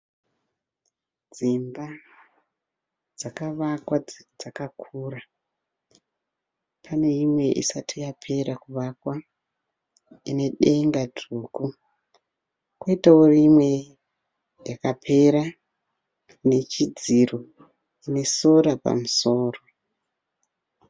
Dzimba dzakavakwa dzakakura, pane imwe isati yapera kuvakwa ine denga dzvuku. koitawo imwe yakapera ine chidziro ine solar pamusoro.